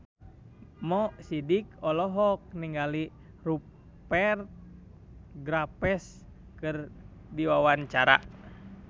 Mo Sidik olohok ningali Rupert Graves keur diwawancara